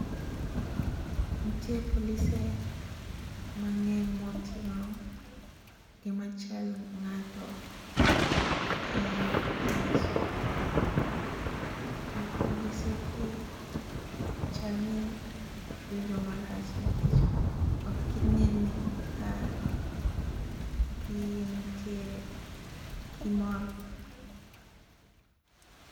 Nitie polise mang'eny moting'o gima chal ng'ato e leso. To polise gi chalni giwinjo marach nikech ok ginen ka gintie gi mor.